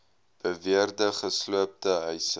beweerde gesloopte huise